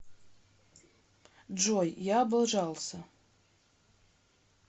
джой я облажался